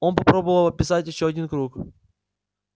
он попробовал описать ещё один круг